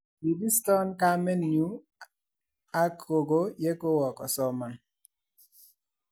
Kibiston kamenyu ak gogoe ya kuwo kosoman